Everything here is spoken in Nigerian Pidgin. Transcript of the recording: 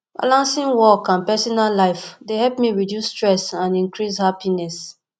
balancing work and personal life dey help me reduce stress and increase happiness